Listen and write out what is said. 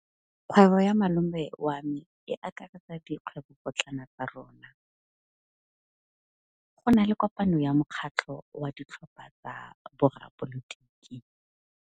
Kgwêbô ya malome wa me e akaretsa dikgwêbôpotlana tsa rona. Go na le kopanô ya mokgatlhô wa ditlhopha tsa boradipolotiki.